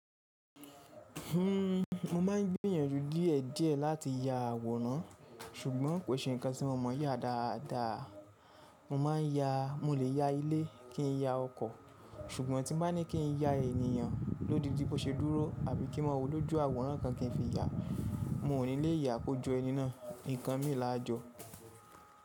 Mo ma n gbiyànjú díè díè láti ya àwòrán ṣùgbọ́n kò ṣe nǹkan tí mo mọ yá dáadáa. Mo máa n yà. Mo lè ya ilé, kí n ya ọkọ̀, ṣùgbọ́n tí m bá ní kí n ya ènìyàn lódindi bó ṣe dúró àbí kí n mọ́ owó lójú àwòrán kan kí n fi ya, mo ò ní lè yà á kójo ẹni náà. Nǹkan mi là á jọ.